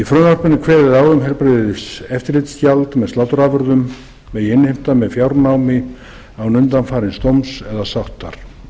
frumvarpinu er kveðið á um að heilbrigðiseftirlitsgjald með sláturafurðum megi innheimta með fjárnámi án undanfarins dóms eða sáttar